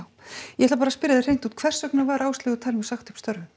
ég ætla bara að spyrja þig hreint út hvers vegna var Áslaugu Thelmu sagt upp störfum